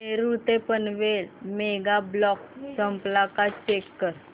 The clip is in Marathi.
नेरूळ ते पनवेल मेगा ब्लॉक संपला का चेक कर